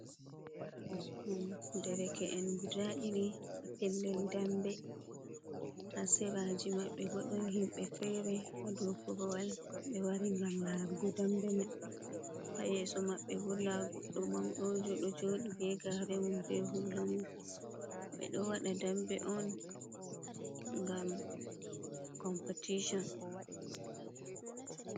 Ɗon dereke’en guda ɗiɗi ha pellel dambe, ha seraji maɓɓe bo don himɓe fere ha dow korowal ɓe wari gam larugo dambe mai, ha yeso maɓɓe bo nda goddo maɗojo ɗo joɗi be garemum be hulamum ɓe ɗo waɗa dambe on gam competition.